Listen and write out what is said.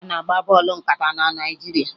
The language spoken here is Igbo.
A na-agba bọọlụ nkata na Naịjirịa